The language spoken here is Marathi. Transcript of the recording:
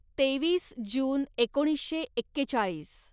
तेवीस जून एकोणीसशे एक्केचाळीस